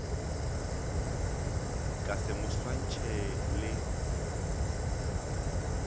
ka se mo swantšhe le